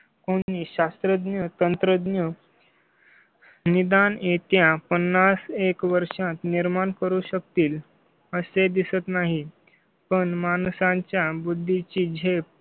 कोणी शास्त्रज्ञ तंत्रज्ञ. निदान येत्या पन्नास एक वर्षात निर्माण करू शकतील असे दिसत नाही. पण माणसांच्या बुद्धी ची झेप